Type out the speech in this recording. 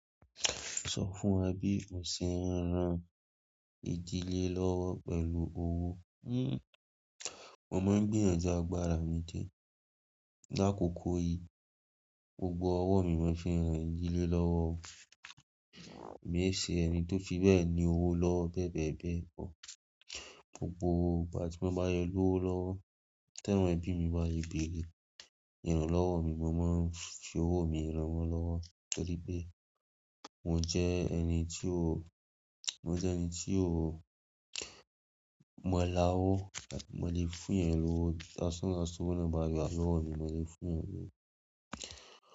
Sọ fún wa bí o ṣe ń ran ìdílé lọ́wọ́ pẹ̀lú owó. Mo máa ń gbìyànjú àgbàrà mi di e. Lákokò yìí, gbogbo ọwọ́ mi mo fi ran ìdílé lọ́wọ́. Mi ò ṣe ẹni tó fi bẹ́ẹ̀ ní owó lọ bẹ́ẹ̀ bẹ́ẹ̀ bẹ́ẹ̀ pọ̀. Gbogbo ìgbà tí mo bá yọ owó lọ́wọ́, tí ẹ̀gbọ́n ẹbí mi bá le bèrè, yànran lọ́wọ́ mi mo máa ń fi owó mi ran wọn lọ́wọ́. Torí pé mo jẹ ẹni tí ó, mo jẹ ẹni tí ó, mo la owó, mo lè fún ẹni lówó. Láṣánṣán, ṣé owó náà bá yá lọ́wọ́ mi, mo lè fún ẹni lówó.